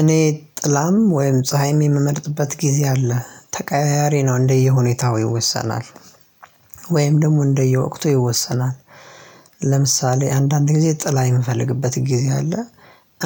እኔ ጥላም ወይም ፀሀይም የምመርጥበት ጊዜ አለ ተቀያያሪ ነው እንደየሁኔታው ይወሰናል ወይም ደግሞ እንደየወቅቱ ይወሰናል። ለምሳሌ አንዳንድ ጊዜ ጥላ የምፈልግበት ጊዜ አለ